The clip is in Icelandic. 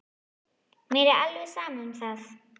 Mér var alveg sama um það.